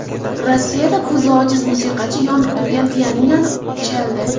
Rossiyada ko‘zi ojiz musiqachi yonib turgan pianinoni chaldi .